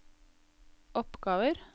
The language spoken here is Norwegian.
oppgaver